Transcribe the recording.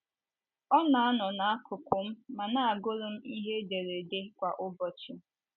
Ọ na - anọ n’akụkụ m ma na - agụrụ m ihe ederede kwa ụbọchị.